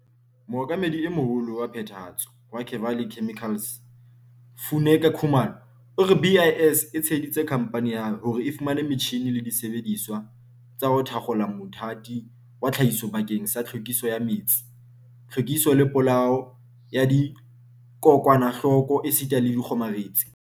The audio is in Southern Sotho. Mookamedi e Moholo wa Phethahatso wa Kevali Chemi-cals, Funeka Khumalo, o re BIS e tsheheditse khamphane ya hae hore e fumane metjhine le disebedisuwa tsa ho thakgola mothati wa tlhahiso bakeng sa tlhwekiso ya metsi, tlhwekiso le polao ya dikokwanahloko esita le dikgomaretsi.